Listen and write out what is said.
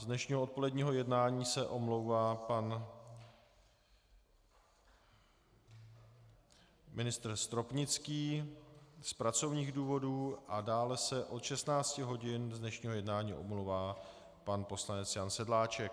Z dnešního odpoledního jednání se omlouvá pan ministr Stropnický z pracovních důvodů a dále se od 16 hodin z dnešního jednání omlouvá pan poslanec Jan Sedláček.